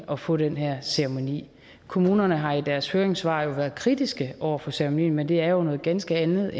at få den her ceremoni kommunerne har i deres høringssvar været kritiske over for ceremonien men det er jo noget ganske andet